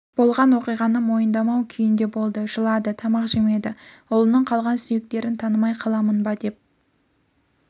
болған оқиғаны мойындамау күйінде болды жылады тамақ жемеді ұлының қалған сүйектерін танымай қаламын ба деп